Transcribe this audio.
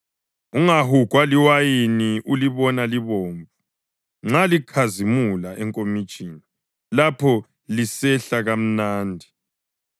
Ungahugwa liwayini ulibona libomvu, nxa likhazimula enkomitshini, lapho lisehla kamnandi!